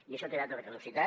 i això té data de caducitat